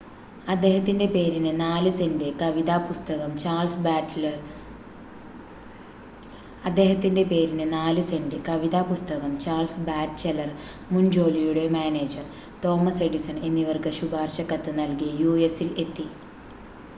അദ്ദേഹത്തിന്റെ പേരിന് 4 സെൻറ് കവിതാ പുസ്തകം ചാൾസ് ബാറ്റ്‌ചെലർ മുൻ ജോലിയുടെ മാനേജർ തോമസ് എഡിസൺ എന്നിവർക്ക് ശുപാർശ കത്ത് നൽകി യുഎസിൽ എത്തി